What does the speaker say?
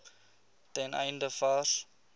ten einde vars